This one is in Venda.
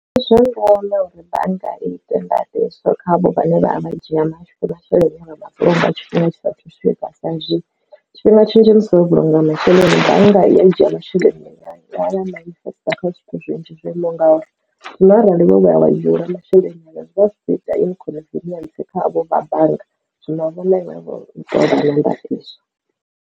Ndi zwa ndeme uri bannga i ite ndaṱiso kha khavho vhane vha a vhadzhia masheleni nga mafheloni nga tshifhinga tshisa thu swika sa izwi tshifhinga tshinzhi musi wo vhulunga masheleni bannga i a dzhia masheleni kha zwithu zwinzhi zwo imo ngauri zwino arali vho ya wa hula masheleni anga zwi vha zwi kho ita ine khoniferentsi khavho vha bannga zwino vhone vha ṱoḓa maga a ndaṱiso.